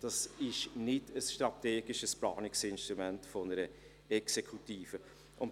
Es wäre kein strategisches Planungsinstrument einer Exekutive mehr.